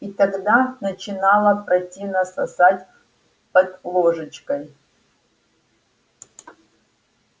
и тогда начинало противно сосать под ложечкой